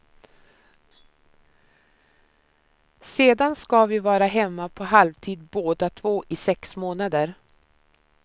Sedan ska vi vara hemma på halvtid båda två i sex månader.